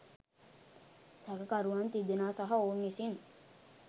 සැකකරුවන් තිදෙනා සහ ඔවුන් විසින්